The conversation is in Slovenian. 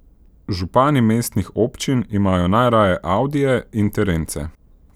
Župani mestnih občin imajo najraje audije in terence.